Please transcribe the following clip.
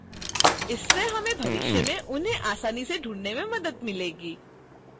इससे हमें भविष्य में उन्हें आसानी से ढूंढने में मदद मिलेगी